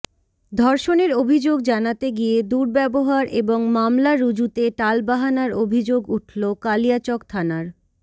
ধর্ষণের অভিযোগ জানাতে গিয়ে দুর্ব্যবহার এবং মামলা রুজুতে টালবাহানার অভিযোগ উঠল কালিয়াচক থানার